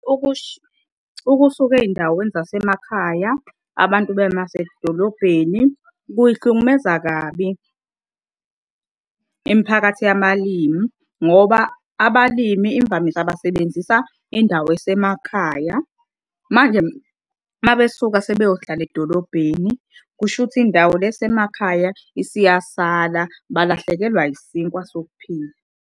Ukusuka ey'ndaweni zasemakhaya abantu baye masedolobheni kuy'hlukumeza kabi imiphakathi yabalimi ngoba abalimi imvamisa basebenzisa indawo esemakhaya. Manje mabesuka sebeyohlala edolobheni, kushuthi indawo le esemakhaya isiyasala balahlekelwa isinkwa sokuphila.